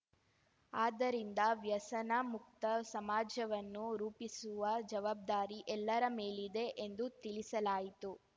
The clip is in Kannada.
ಆದ್ದರಿಂದ ವ್ಯಸನ ಮುಕ್ತ ಸಮಾಜವನ್ನು ರೂಪಿಸುವ ಜವಾಬ್ದಾರಿ ಎಲ್ಲರ ಮೇಲಿದೆ ಎಂದು ತಿಳಿಸಲಾಯಿತು